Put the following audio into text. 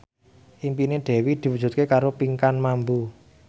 impine Dewi diwujudke karo Pinkan Mambo